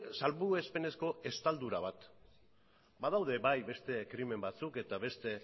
salbuespenezko estaldura bat badaude bai beste krimen batzuk eta beste